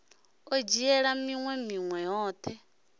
o dzhiaho minwe minwe yoṱhe